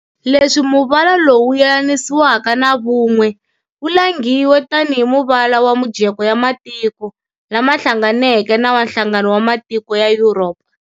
Leswi muvala lowu wu yelanisiwaka na vun'we, wu langhiwe tani hi muvala wa mujeko ya matiko lama hlanganeke na wa Nhlangano wa matiko ya Yuropa.